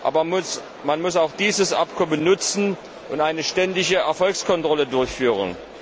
Aber man muss dieses Abkommen auch nutzen und eine ständige Erfolgskontrolle durchführen.